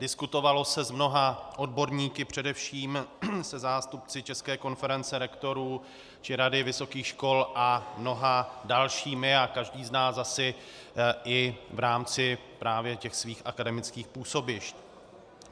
Diskutovalo se s mnoha odborníky, především se zástupci České konference rektorů či Rady vysokých škol a mnoha dalšími, a každý z nás asi i v rámci právě těch svých akademických působišť.